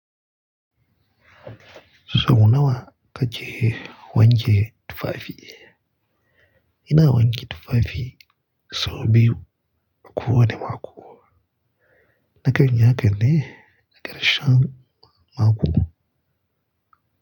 Sau nawa ka ke wanke tufafi? Ina wanke tufafi sau biyu a kowane mako na kan yi hakan ne, ƙarshen mako.